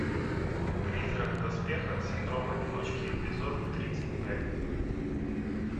призрак в доспехах синдром одиночки эпизод тридцать пять